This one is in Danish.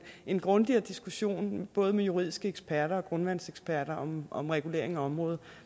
en grundigere diskussion med både juridiske eksperter og grundvandseksperter om regulering af området